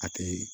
A tɛ